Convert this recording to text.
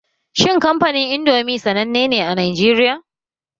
Shin kamfanin Indomi sanannen ne a Najeriya?